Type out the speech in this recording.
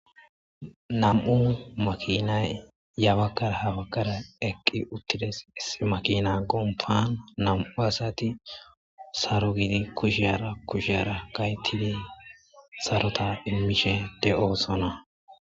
nam'u makinay ya bagara ha baggara eqqi uttides iss makina gompan nam'u asati sarogidi kushiyhara kushi ara kaytidi sarota immishe de'osona